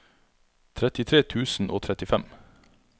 trettitre tusen og trettifem